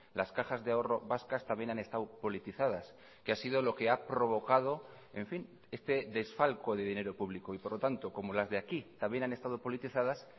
las cajas de ahorro vascas también han estado politizadas que ha sido lo que ha provocado en fin este desfalco de dinero público y por lo tanto como las de aquí también han estado politizadas